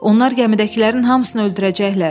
Onlar gəmidəkilərin hamısını öldürəcəklər!